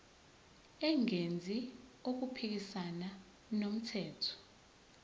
engenzi okuphikisana nomthetho